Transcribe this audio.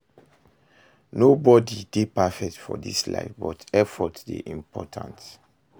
Nobody dey perfect for dis life, but effort dey important